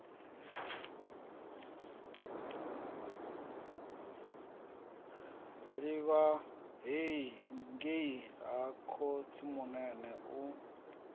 livha ngei ha khotsimunene u